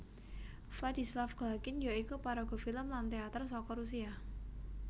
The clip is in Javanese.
Vladislav Galkin ya iku paraga filem lan téater saka Rusia